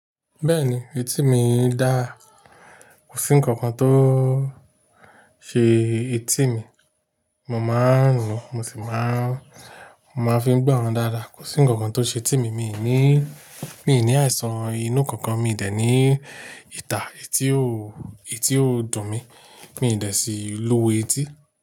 Bẹ́ẹ̀ni, etíì mi dáa. Kò sí ǹkankan tó ṣe etíì mi, mo máa ń lò ó, mo sì máa ń, mo máa fi ń gbọ́ ran dáadáa. Kò sí ǹkankan tó ṣe etíì mi, mi ò ní, mi ò ní àìsàn inú ǹkankan, mi dẹ̀ ní ìtà etí ó, etí ó dùn mi, mi dẹ̀ sì lu etí.